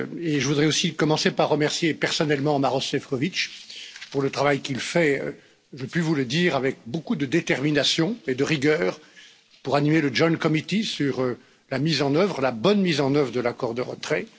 Je voudrais aussi commencer par remercier personnellement Maroš Šefčovič pour le travail qu'il fait, je puis vous le dire, avec beaucoup de détermination et de rigueur pour animer le comité mixte sur la mise en œuvre la bonne mise en œuvre de l'accord de retrait.